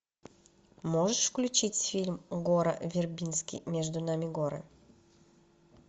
можешь включить фильм гора вербински между нами горы